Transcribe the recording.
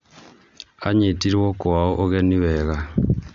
Anyitirwo kwao ũgeni wega